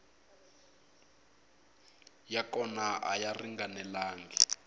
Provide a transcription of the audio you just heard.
ya kona a ya ringanelangi